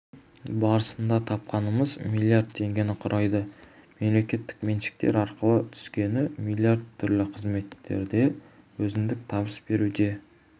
барысында тапқанымыз млрд теңгені құрайды мемлекеттік меншіктер арқылы түскені млрд түрлі қызметтерде өзіндік табыс беруде